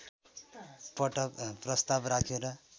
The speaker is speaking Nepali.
पटक प्रस्ताव राखेर